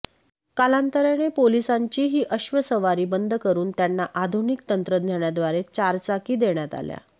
कालांतराने पोलिसांची ही अश्व सवारी बंद करून त्यांना आधुनिक तंत्रज्ञानाद्वारे चारचाकी देण्यात आल्या